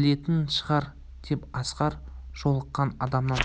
білетін шығар деп асқар жолыққан адамнан